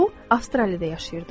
O, Avstraliyada yaşayırdı.